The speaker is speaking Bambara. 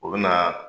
O bɛ na